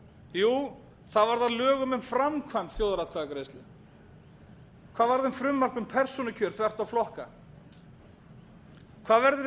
jú það varð að lögum um framkvæmd þjóðaratkvæðagreiðslu hvað varð um frumvarp um persónukjör þvert á flokka hvað verður um